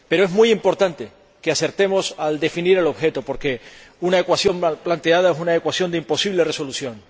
Pero es muy importante que acertemos al definir el objeto, porque una ecuación mal planteada es una ecuación de imposible resolución.